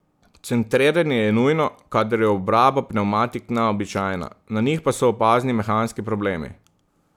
Centriranje je nujno, kadar je obraba pnevmatik neobičajna, na njih pa so opazni mehanski problemi.